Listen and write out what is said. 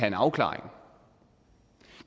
en afklaring